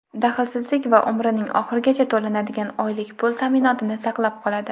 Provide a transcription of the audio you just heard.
daxlsizlik va umrining oxirigacha to‘lanadigan oylik pul ta’minotini saqlab qoladi.